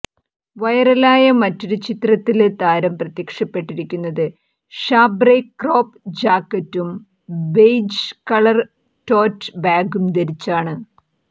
viral ആയ മറ്റൊരു ചിത്രത്തില് താരം പ്രത്യക്ഷപ്പെട്ടിരിക്കുന്നത് ഷാംബ്രെ ക്രോപ് ജാക്കെറ്റും ബെയിജ് കളര് റ്റോറ്റ് ബാഗും ധരിച്ചാണ്